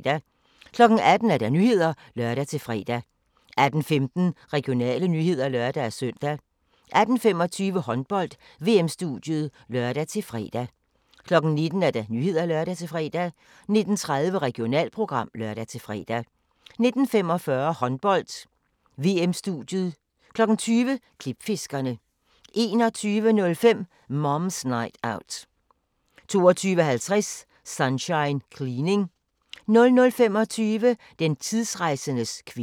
18:00: Nyhederne (lør-fre) 18:15: Regionale nyheder (lør-søn) 18:25: Håndbold: VM-studiet (lør-fre) 19:00: Nyhederne (lør-fre) 19:30: Regionalprogram (lør-fre) 19:45: Håndbold: VM-studiet 20:00: Klipfiskerne 21:05: Mom's Night Out 22:50: Sunshine Cleaning 00:25: Den tidsrejsendes kvinde